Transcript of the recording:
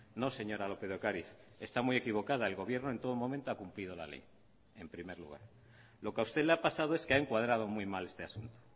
no señora lópez de ocariz está muy equivocada el gobierno en todo momento ha cumplido la ley en primer lugar lo que a usted le ha pasado es que ha encuadrado muy mal este asunto